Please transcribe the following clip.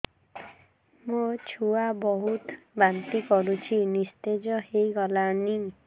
ମୋ ଛୁଆ ବହୁତ୍ ବାନ୍ତି କରୁଛି ନିସ୍ତେଜ ହେଇ ଗଲାନି